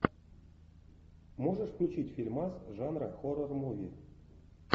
можешь включить фильмас жанра хоррор муви